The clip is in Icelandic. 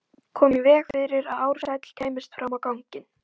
Kom í veg fyrir að Ársæll kæmist fram á ganginn.